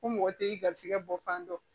Ko mɔgɔ tɛ i garisɛgɛ bɔ fan dɔn